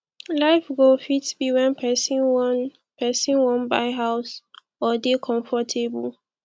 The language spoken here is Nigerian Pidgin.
life goal fit be when person wan person wan buy house or dey comfortable